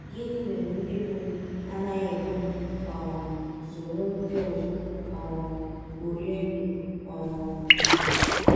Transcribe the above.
Gịnị Mere Ndị Mụrụ m Anaghị Ekwe M um Soro Ndị Ọzọ um Kporie Ndụ um?